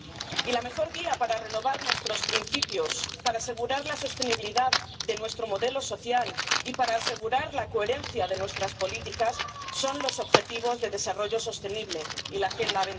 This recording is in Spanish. Y la mejor guía para renovar nuestros principios, para asegurar la sostenibilidad de nuestro modelo social y para asegurar la coherencia de nuestras políticas son los objetivos de desarrollo sostenible y la Agenda